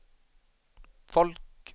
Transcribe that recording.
folk